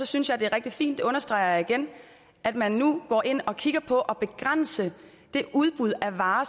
synes jeg det er rigtig fint understreger jeg igen at man nu går ind og kigger på at begrænse det udbud af varer